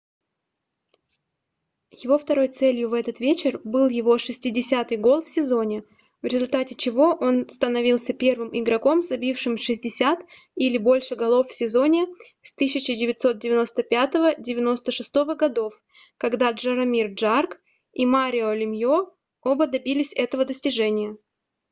его второй целью в этот вечер был его 60-й гол в сезоне в результате чего он становился первым игроком забившим 60 или больше голов в сезоне с 1995-96 гг когда джаромир джагр и марио лемьо оба добились этого достижения